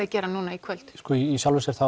að gera núna í kvöld í sjálfu sér þá